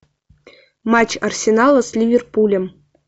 матч арсенала с ливерпулем